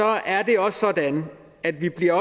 er det også sådan at vi bliver